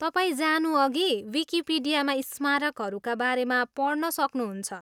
तपाईँ जानुअघि विकिपिडियामा स्मारकहरूका बारेमा पढ्न सक्नुहुन्छ।